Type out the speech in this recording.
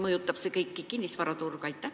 Kuidas see mõjutab kinnisvaraturge?